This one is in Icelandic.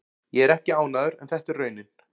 Ég er ekki ánægður en þetta er raunin.